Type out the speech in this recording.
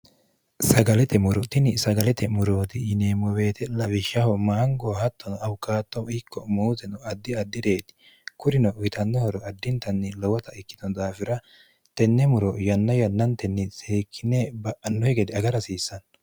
sagalete morootini sagalete murooti yineemmo beete lawishshaho maangoo hattono awukaattohu ikko muuteno addi addi'reeti kurino witannohoro addintanni lowota ikkito daafira tenne muro yanna yannantenni sihikkine ba'annohe gede aga rhasiissanno